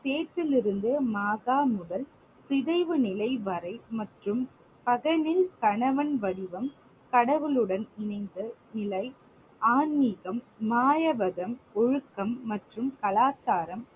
முதல் சிதைவு நிலை வரை மற்றும் பகலில் கணவன் வடிவம் கடவுளுடன் மீது நிலை ஆன்மிகம், மாயவதம், ஒழுக்கம் மற்றும் கலாச்சாரம்